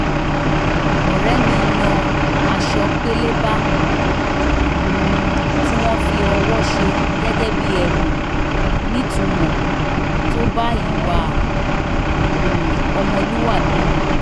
ọ̀rẹ́ mi yan aṣọ pélébá um tí wọ́n fi ọwọ́ ṣe gẹ́gẹ́ bí ẹ̀bùn nítumọ̀ tó bá ìwà um ọmọlúwàbí mu